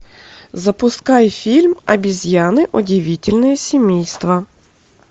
запускай фильм обезьяны удивительное семейство